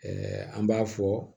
an b'a fɔ